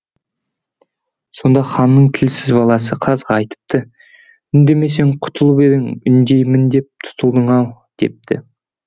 сонда ханның тілсіз баласы қазға айтыпты үндемесең құтылып едің үндеймін деп тұтылдың ау депті